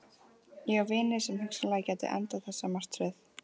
Ég á vini sem hugsanlega gætu endað þessa martröð.